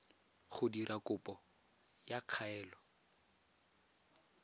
go dira kopo ya kaelo